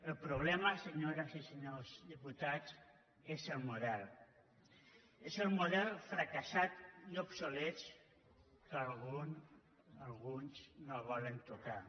el problema senyores i senyors diputats és el model és el model fracassat i obsolet que alguns no volen tocar